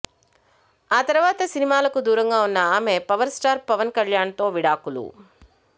ఆ తర్వాత సినిమాలకు దూరంగా ఉన్న ఆమె పవర్ స్టార్ పవన్ కళ్యాణ్ తో విడాకులు